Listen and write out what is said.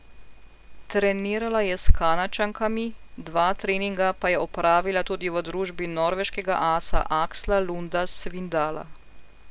Trenirala je s Kanadčankami, dva treninga pa je opravila tudi v družbi norveškega asa Aksla Lunda Svindala.